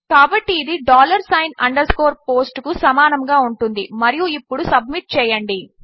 కాబట్టి ఇది dollar sign underscore post కుసమానముగాఉంటుందిమరియుఇప్పుడు సబ్మిట్ చేయండి